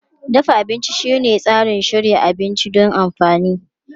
Dafa abinci shine tsarin shirya abinci don amfani.